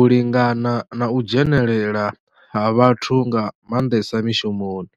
u lingana na u dzhenelela ha vhathu nga mandesa mishumoni.